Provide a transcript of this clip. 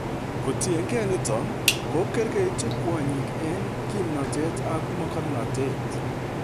Kotiengee nito, kokergeitu kwonyik eng' kimnotet ak mogornotet.